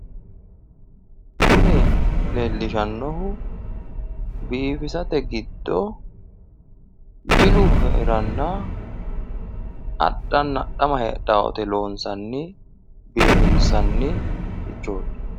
kuni leellishshannohu biifisate giddo jilu heeranna adhanna adhama heedhanno woyte loonssanni biifinsannirichooti.